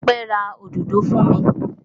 Ọpẹ́ ra òdòdó fún mi.